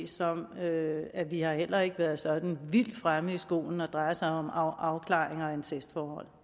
som at at vi heller ikke har været sådan vildt fremme i skoene når det drejer sig om afklaringer af incestforhold